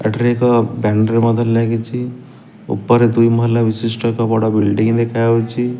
ଏଠାରେ ଏକ ବ୍ୟାନର ମଧ୍ୟ ଲାଗିଚି। ଉପରେ ଦୁଇ ମହଲା ବିଶିଷ୍ଟ ଏକ ବଡ଼ ବିଲଡିଂ ଦେଖାହୋଉଚି।